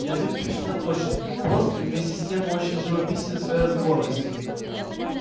язык пришвина точен прост и вместе с тем очень живописен в своей разговорности